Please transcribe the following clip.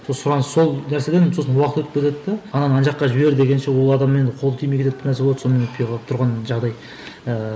сұраныс сол нәрседен сосын уақыт өтіп кетеді де ананы ана жаққа жібер дегенше ол адаммен қол тимей кетеді бір нәрсе болады сонымен өтпей қалып тұрған жағдай ііі